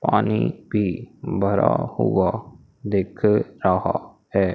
पानी भी भरा हुआ दिख रहा है।